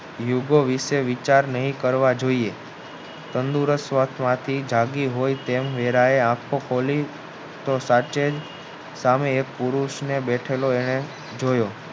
યુગો વિષે વિશે વિચાર નહીં કરવા જોઇએ તંદુરસ્ત વાથી જાગી હોય તેમ વેદ એ આખો ખોલી તો સાચે સામે એક પુરુષને બેઠેલો એને જોયો